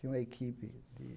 Tem uma equipe de...